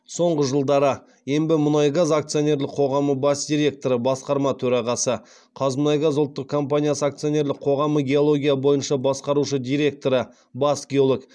соңғы жылдары ембімұнайгаз акционерлік қоғамы бас директоры қазмұнайгаз ұлттық компаниясы акциоенрлік қоғамы геология бойынша басқарушы директоры бас геолог